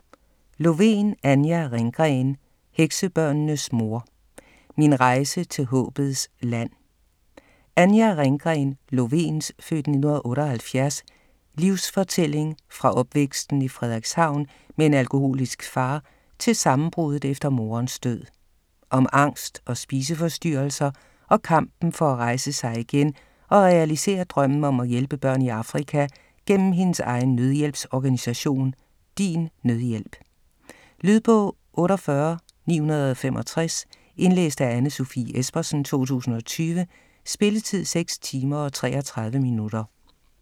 Lovén, Anja Ringgren: Heksebørnenes mor: min rejse til Håbets Land Anja Ringgren Lovéns (f. 1978) livsfortælling fra opvæksten i Frederikshavn med en alkoholisk far til sammenbruddet efter moderens død. Om angst og spiseforstyrrelser og kampen for at rejse sig igen og realisere drømmen om at hjælpe børn i Afrika gennem hendes egen nødhjælpsorganisation DINNødhjælp. Lydbog 48965 Indlæst af Anne Sofie Espersen, 2020. Spilletid: 6 timer, 33 minutter.